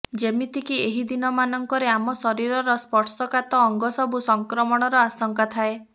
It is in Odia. ଯେମିତିକି ଏହି ଦିନ ମାନଙ୍କରେ ଆମ ଶରୀରର ସ୍ପର୍ଶକାତ ଅଙ୍ଗ ସବୁ ସଂକ୍ରମଣର ଆଶଙ୍କା ଥାଏ